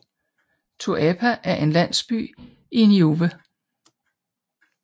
Tuapa er en landsby i Niue